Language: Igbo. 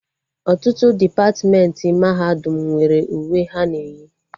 Ọtụtụ depatmentị mahadum nwere uwe ha na eyi